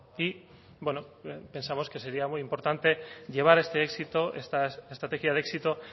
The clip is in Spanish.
y bueno pensamos que sería muy importante llevar este éxito esta estrategia de éxito